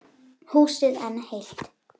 Húsið enn heilt.